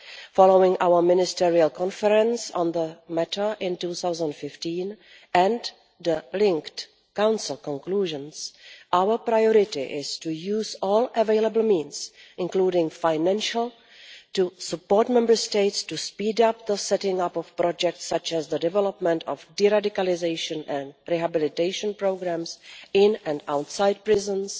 Following our Ministerial Conference on the matter in 2015 and the linked Council conclusions, our priority is to use all available means, including financial, to support Member States to speed up the setting up of projects such as the development of deradicalisation and rehabilitation programmes in and outside prisons,